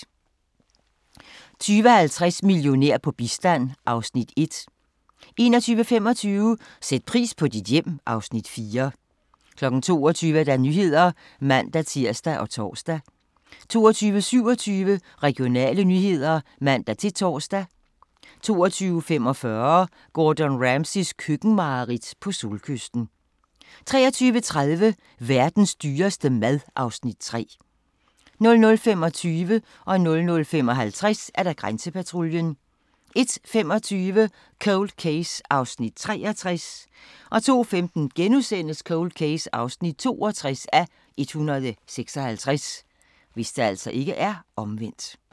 20:50: Millionær på bistand (Afs. 1) 21:25: Sæt pris på dit hjem (Afs. 4) 22:00: Nyhederne (man-tir og tor) 22:27: Regionale nyheder (man-tor) 22:45: Gordon Ramsays køkkenmareridt - på solkysten 23:30: Verdens dyreste mad (Afs. 3) 00:25: Grænsepatruljen 00:55: Grænsepatruljen 01:25: Cold Case (63:156) 02:15: Cold Case (62:156)*